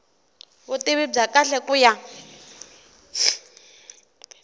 vutivi bya kahle ku ya